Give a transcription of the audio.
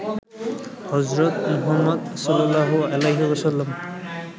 হজরত মুহাম্মদ সা.